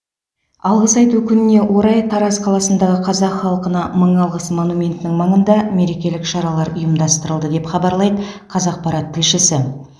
алғыс айту күніне орай тараз қаласындағы қазақ халқына мың алғыс монументінің маңында мерекелік шаралар ұйымдастырылды деп хабарлайды қазақпарат тілшісі